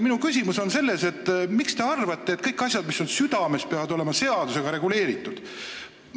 Minu küsimus on selles, miks te arvate, et kõik asjad, mis on südames, peavad olema seadusega reguleeritud.